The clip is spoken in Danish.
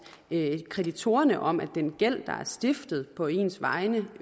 kreditorerne om at den gæld der uretmæssigt er stiftet på ens vegne